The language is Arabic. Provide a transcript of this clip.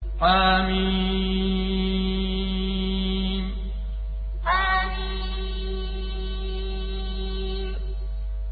حم حم